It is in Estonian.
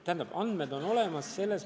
Teatud andmed on olemas.